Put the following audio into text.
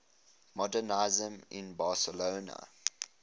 modernisme in barcelona